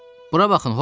Bura baxın Horvits.